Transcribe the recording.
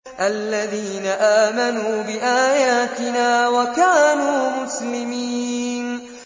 الَّذِينَ آمَنُوا بِآيَاتِنَا وَكَانُوا مُسْلِمِينَ